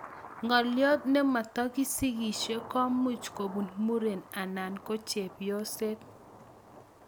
Ngalyot nematakisikisie komuuch kobuun mureen anan ko chepyoset